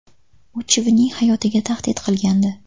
U chivinning hayotiga tahdid qilgandi.